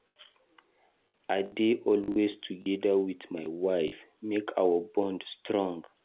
I dey always dey together wit my wife, make our bond strong.